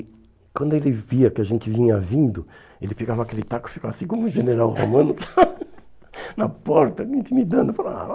E quando ele via que a gente vinha vindo, ele pegava aquele taco e ficava assim como o general Romano, na porta, intimidando, falando...